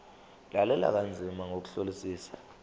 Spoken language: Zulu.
lalela kanzima ngokuhlolisisa